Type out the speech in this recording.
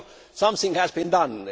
So something has been done.